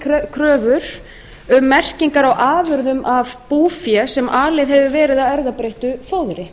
kröfur um merkingar á afurðum af búfé sem alið hefur verið á erfðabreyttu fóðri